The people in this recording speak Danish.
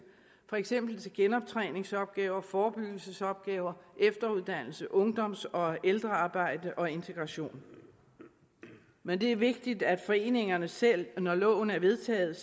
for eksempel til genoptræningsopgaver forebyggelsesopgaver efteruddannelse ungdoms og ældrearbejde og integration men det er vigtigt at foreningerne selv når loven er vedtaget